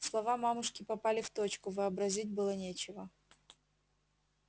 слова мамушки попали в точку вообразить было нечего